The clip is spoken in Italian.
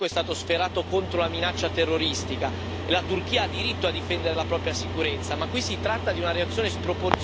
La Turchia ha diritto a difendere la propria sicurezza, ma qui si tratta di una reazione sproporzionata per colpire invece una minoranza scomoda.